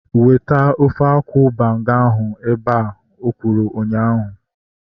Weta ofe akwụ banga ahu ebea! Ka okwuru ụnyaahụ